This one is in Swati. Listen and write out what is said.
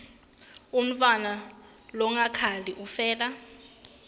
umntfwana longakhali ufela